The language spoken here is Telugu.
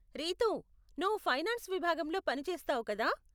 రితూ, నువ్వు ఫైనాన్స్ విభాగంలో పని చేస్తావు కదా?